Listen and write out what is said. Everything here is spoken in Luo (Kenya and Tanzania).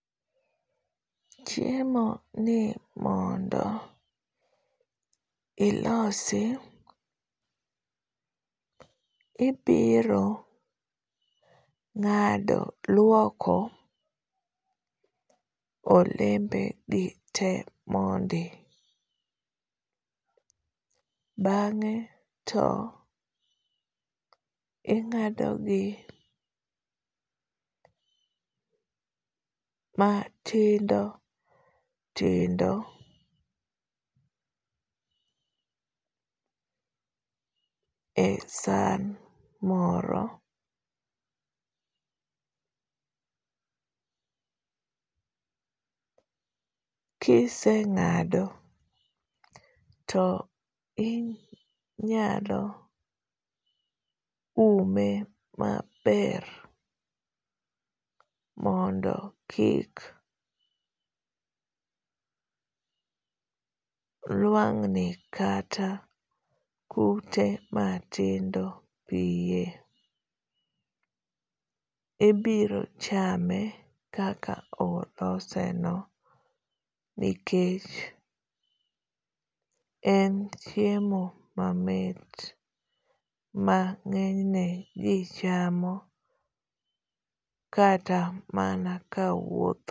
chiemoni mondo ilose ibiro ng'ado luoko olembe gi te mondi ,bang'e to ing'ado gi matindo tindo e san moro ,kiseng'ado to inyalo ume maber mondo kik lwangni kata kute matindo piye ,ibiro chame kaka oloseno nikech en chiemo mamit ma ng'enyne ji chamo kata mana kawuotho